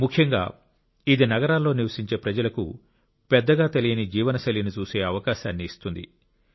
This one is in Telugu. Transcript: ముఖ్యంగా ఇది నగరాల్లో నివసించే ప్రజలకు పెద్దగా తెలియని జీవనశైలిని చూసే అవకాశాన్ని ఇస్తుంది